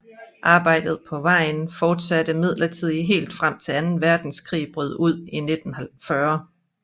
Arbejdet på vejen fortsatte imidlertid helt frem til Anden Verdenskrig brød ud i 1940